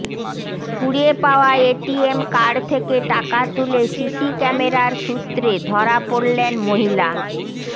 কুড়িয়ে পাওয়া ATM card থেকে টাকা তুলে সিসি ক্যামেরার সূত্রে ধরা পড়লেন মহিলা